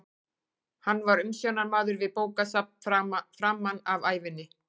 Hann var umsjónarmaður við bókasafn framan af ævinni.